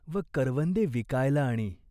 व करवंदे विकायला आणी.